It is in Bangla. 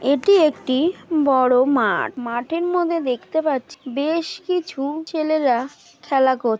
এটি একটি বড়ো মাঠ মাঠের মধ্যে দেখতে পাচি বেশ কিছু ছেলেরা খেলা করছে ।